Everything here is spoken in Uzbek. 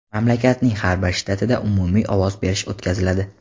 mamlakatning har bir shtatida umumiy ovoz berish o‘tkaziladi.